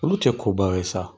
Olu tɛ ko baw ye sa!